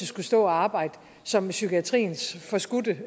skulle stå og arbejde som psykiatriens forskudte